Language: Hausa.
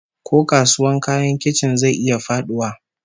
Ko kasuwar kayan kicin zai iya faduwa?